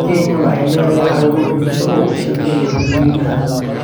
Kenya waxay leedahay xarumo bulsho oo u shaqeeya dadweynaha.